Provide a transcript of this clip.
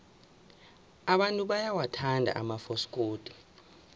abantu bayawathanda amafasikodi